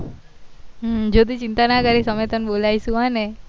જ્યોતિ ચિતા ના કરીશ અમે તન બોલીસું હો ને